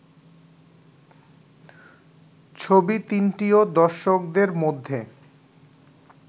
ছবি তিনটিও দর্শকদের মধ্যে